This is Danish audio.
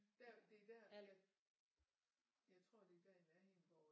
Der det er der jeg tror det er der i nærheden hvor